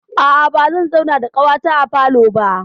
A'a, bazan zauna da ƙawata a falo ba.